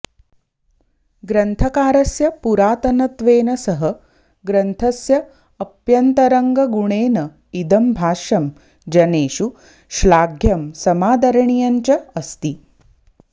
ग्रन्थकारस्य पुरातनत्वेन सह ग्रन्थस्य अप्यन्तरङ्गगुणेन इदं भाष्यं जनेषु श्लाघ्यं समादरणीयञ्च अस्ति